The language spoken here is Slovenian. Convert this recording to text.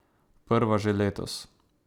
Prva že letos.